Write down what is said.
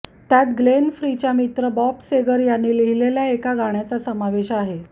त्यात ग्लेन फ्रीच्या मित्र बॉब सेगर यांनी लिहिलेल्या एका गाण्याचा समावेश आहे